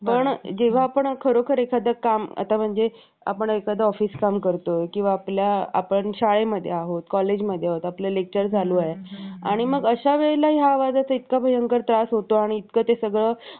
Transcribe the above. पण जेव्हा आपण खरोखर एखादं काम आता म्हणजे एखादा आपण office काम करतोय किंवा आपल्या आपण शाळेमध्ये आहोत कॉलेजमध्ये आहोत आपल्या lecture चालू आहे आणि मग अश्यावेळेला आवाजाचा इतका भयंकर त्रास होतो इतकं ते सगळं